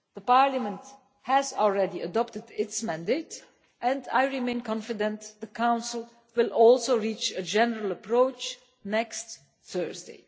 Parliament has already adopted its mandate, and I remain confident the Council will also reach a general approach next Thursday.